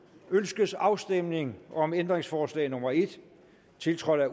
ønskes afstemning om ændringsforslag nummer en fem tiltrådt af